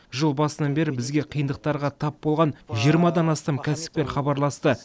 жыл басынан бері бізге қиындықтарға тап болған жиырмадан астам кәсіпкер хабарласты